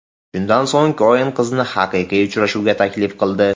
Shundan so‘ng Koen qizni haqiqiy uchrashuvga taklif qildi.